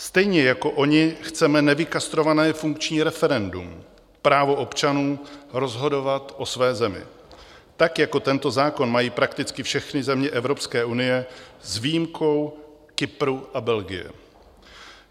Stejně jako oni chceme nevykastrované funkční referendum, právo občanů rozhodovat o své zemi, tak jako tento zákon mají prakticky všechny země Evropské unie s výjimkou Kypru a Belgie.